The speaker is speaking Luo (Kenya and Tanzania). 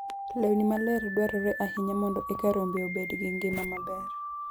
Lewni maler dwarore ahinya mondo eka rombe obed gi ngima maber.